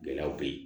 Gɛlɛyaw bɛ ye